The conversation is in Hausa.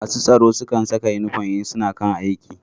Masu gadi na Saka inufom idan suna kan aiki